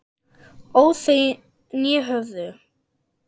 óð þau né höfðu